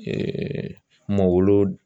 mawuludi